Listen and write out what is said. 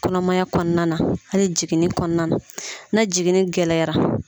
Kɔnɔmaya kɔnɔna hali jiginni kɔnɔna na na jiginni gɛlɛyara.